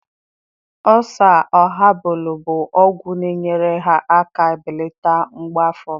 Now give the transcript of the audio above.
Oosaa habalụ bụ ọgwụ na-enyere aka belata mgbu afọ m.